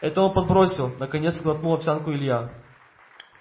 это он подбросил наконец сглотнул овсянку илья